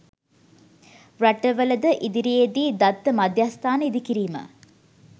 රටවලද ඉදිරියේදී දත්ත මධ්‍යස්ථාන ඉදිකිරීම